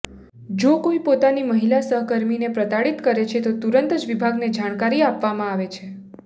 જો કોઇ પોતાની મહિલા સહકર્મીને પ્રતાડિત કરે છે તો તુરંત જ વિભાગને જાણકારી આપવામાં આવે